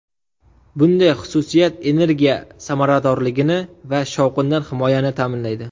Bunday xususiyat energiya samaradorligini va shovqindan himoyani ta’minlaydi.